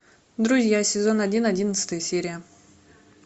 друзья сезон один одиннадцатая серия